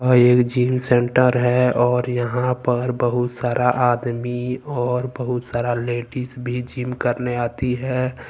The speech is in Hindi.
यह एक जिम सेंटर है और यहां पर बहुत सारा आदमी और बहुत सारा लेडीज भी जिम करने आती है।